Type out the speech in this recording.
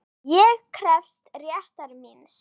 SKÚLI: Ég krefst réttar míns.